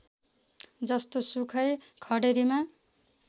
जस्तोसुकै खडेरीमा